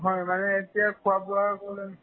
হয়, মানে এতিয়া মানে খোৱা-বোৱাৰ problem